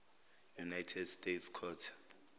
united states court